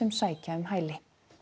sækja um hæli